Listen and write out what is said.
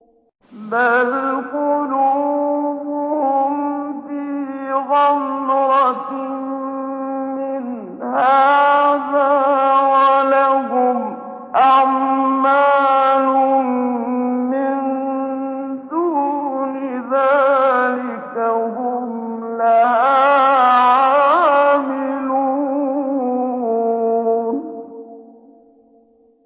بَلْ قُلُوبُهُمْ فِي غَمْرَةٍ مِّنْ هَٰذَا وَلَهُمْ أَعْمَالٌ مِّن دُونِ ذَٰلِكَ هُمْ لَهَا عَامِلُونَ